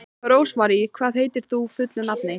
Rósmarý, hvað heitir þú fullu nafni?